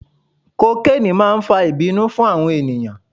Kokeni máa ń fa ìbínú fún àwọn ènìyàn.